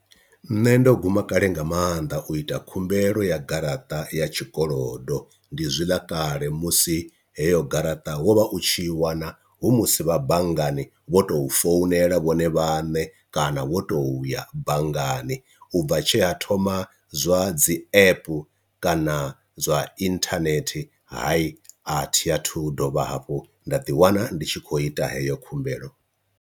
Nṋe ndo guma kale nga maanḓa u ita khumbelo ya garaṱa ya tshikolodo, ndi zwiḽa kale musi heyo garaṱa wo vha u tshi wana hu musi vha banngani vho tou founela vhone vhaṋe kana wo toya bangani, ubva tshe ha thoma zwa dzi app kana zwa internet hayi athiathu dovha hafhu nda ḓi wana ndi tshi khou ita heyo khumbelo.